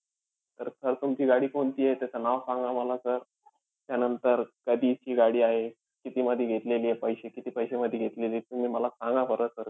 तर sir तुमची गाडी कोणतीये? त्याचं नाव सांगा मला sir. त्यानंतर कधीची गाडी आहे, कितीमध्ये घेतलेलीय, पैसे किती-पैशेमध्ये घेतलेलीय? तुम्ही मला सांगा बरं sir.